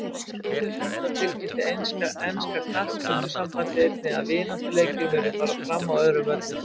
Þrátt fyrir þetta tilkynnti enska knattspyrnusambandið einnig að vináttuleikir muni fara fram á öðrum völlum.